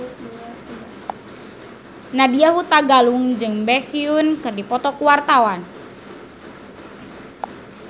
Nadya Hutagalung jeung Baekhyun keur dipoto ku wartawan